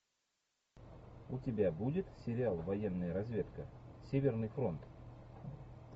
у тебя будет сериал военная разведка северный фронт